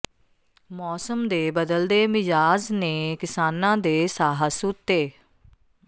ਮੌਸਮ ਦੇ ਬਦਲਦੇ ਮਿਜਾਜ਼ ਨੇ ਕਿਸਾਨਾਂ ਦੇ ਸਾਹ ਸੂਤੇ